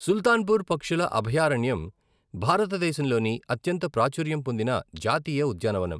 సుల్తాన్పూర్ పక్షుల అభయారణ్యం భారతదేశంలోని అత్యంత ప్రాచుర్యం పొందిన జాతీయ ఉద్యానవనం.